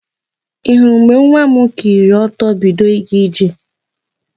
Ị hụrụ mgbe nwa m kuliri ọtọ bido ịga ije?